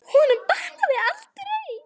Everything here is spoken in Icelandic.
Honum batnar aldrei.